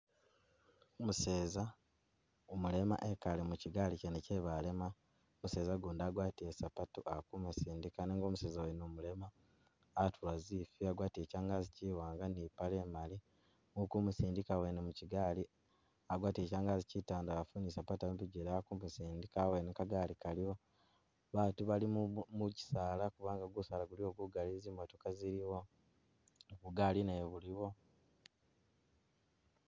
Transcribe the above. Umuseza umulema ekaale mukigaali kye balema, umuseza ugundi agwatile zisapatu ali kumusindika nenga umuseza wene umulema atula zifwi agwatile changazi chiwanga ni ipaale imaali, uli kumusindika wene mukigaali agwatile changazi chitandalafu ali ni sapatu mubijele ali kumusindika kagaali kaliwo, baatu bali mukisaala kubanga gusaala guliwo gugali zimotoka zili awo bugaali nabwo buliwo.